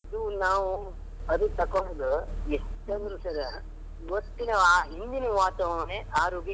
ಅದು ನಾವು ಅದು ತಕ್ಕೊಳ್ಳುದು ಎಷ್ಟು ಅಂದ್ರು sir , ಇವತ್ತು ಹಿಂದಿನ ವಾತಾವರಣನೇ ಆರೋಗ್ಯಕ್ಕೆ.